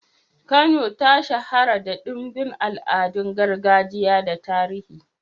Kano ta shahara da ɗimbin al'adun gargajiya da tarihi.